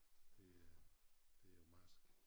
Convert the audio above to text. Det er det jo marsk